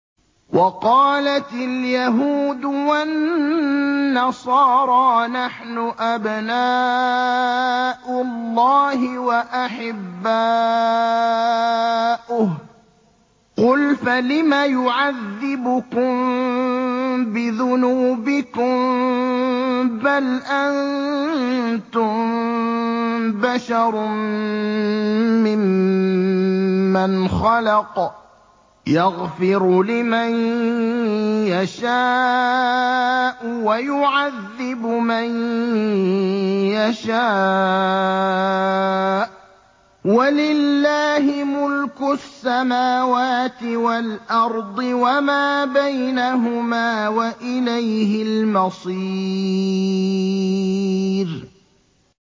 وَقَالَتِ الْيَهُودُ وَالنَّصَارَىٰ نَحْنُ أَبْنَاءُ اللَّهِ وَأَحِبَّاؤُهُ ۚ قُلْ فَلِمَ يُعَذِّبُكُم بِذُنُوبِكُم ۖ بَلْ أَنتُم بَشَرٌ مِّمَّنْ خَلَقَ ۚ يَغْفِرُ لِمَن يَشَاءُ وَيُعَذِّبُ مَن يَشَاءُ ۚ وَلِلَّهِ مُلْكُ السَّمَاوَاتِ وَالْأَرْضِ وَمَا بَيْنَهُمَا ۖ وَإِلَيْهِ الْمَصِيرُ